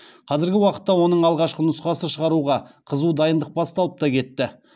қазіргі уақытта оның алғашқы нұсқасы шығаруға қызу дайындық басталып та кетті